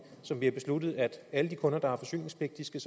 som vi har besluttet at alle de kunder der har forsyningspligt skal